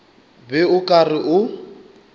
be o ka re o